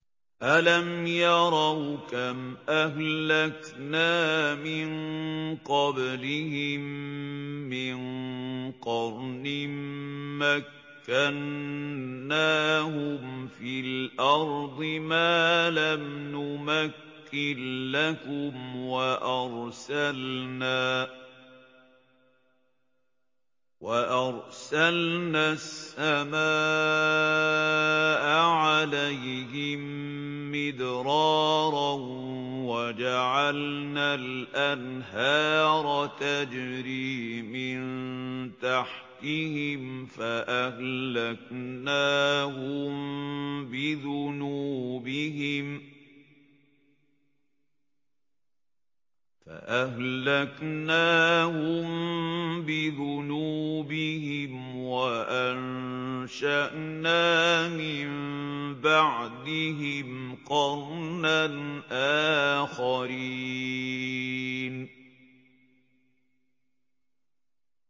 أَلَمْ يَرَوْا كَمْ أَهْلَكْنَا مِن قَبْلِهِم مِّن قَرْنٍ مَّكَّنَّاهُمْ فِي الْأَرْضِ مَا لَمْ نُمَكِّن لَّكُمْ وَأَرْسَلْنَا السَّمَاءَ عَلَيْهِم مِّدْرَارًا وَجَعَلْنَا الْأَنْهَارَ تَجْرِي مِن تَحْتِهِمْ فَأَهْلَكْنَاهُم بِذُنُوبِهِمْ وَأَنشَأْنَا مِن بَعْدِهِمْ قَرْنًا آخَرِينَ